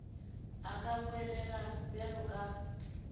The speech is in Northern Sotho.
a ka bolela bjalo ka